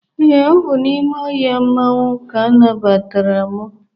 ee, ọ bụ n'ime ohia mmanwu ka anabgatara' m